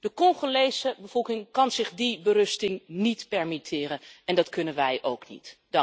De Congolese bevolking kan zich die berusting niet permitteren. En dat kunnen wij ook niet.